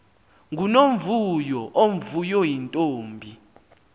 ngunomvuyo omvuyo yintombi